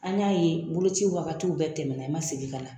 An y'a ye boloci wagatiw bɛɛ tɛmɛna i ma segin ka na